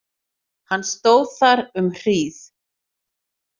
Hann stóð þar um hríð.